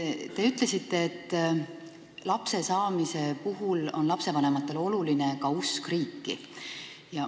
Te ütlesite, et lapse saamise puhul on lastevanematele oluline ka usk riiki.